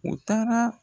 U taara